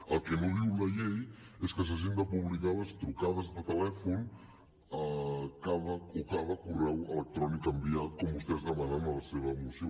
el que no diu la llei és que s’hagin de publicar les trucades de telèfon o cada correu electrònic enviat com vostès demanen a la seva moció